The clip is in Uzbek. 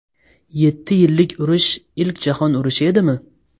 Yetti yillik urush ilk jahon urushi edimi?